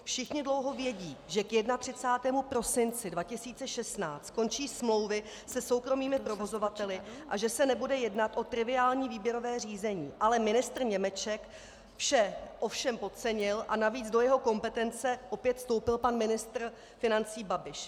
Všichni dlouho vědí, že k 31. prosinci 2016 končí smlouvy se soukromými provozovateli a že se nebude jednat o triviální výběrové řízení, ale ministr Němeček vše ovšem podcenil a navíc do jeho kompetence opět vstoupil pan ministr financí Babiš.